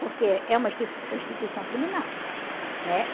Porque é uma instituição criminal, né?